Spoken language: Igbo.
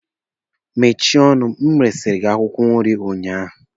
Mesie ọnụ! resiri m gị akwụkwọ nri ụnyaahụ!